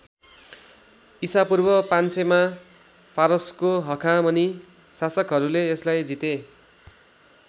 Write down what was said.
इसापूर्व ५०० मा फारसको हखामनी शासकहरूले यसलाई जिते।